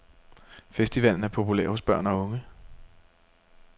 Festivalen er populær hos børn og unge.